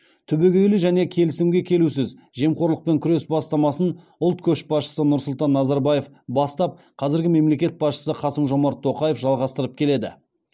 түбегейлі және келісімге келусіз жемқорлықпен күрес бастамасын ұлт көшбасшысы нұрсұлтан назарбаев бастап қазіргі мемлекет басшысы қасым жомарт тоқаев жалғастырып келеді